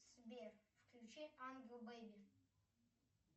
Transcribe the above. сбер включи ангел бэби